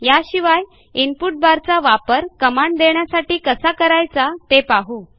याशिवाय इनपुट बारचा वापर कमांड देण्यासाठी कसा करायचा ते पाहू